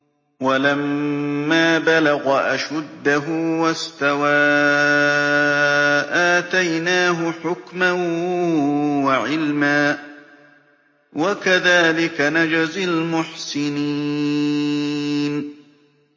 وَلَمَّا بَلَغَ أَشُدَّهُ وَاسْتَوَىٰ آتَيْنَاهُ حُكْمًا وَعِلْمًا ۚ وَكَذَٰلِكَ نَجْزِي الْمُحْسِنِينَ